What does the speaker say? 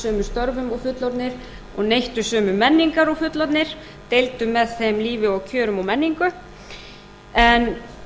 sömu störfum og fullorðnir og neyttu sömu menningar og fullorðnir deildu með þeim lífi og kjörum og menningu en